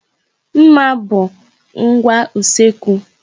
Nmà bụ ngwa usekwu.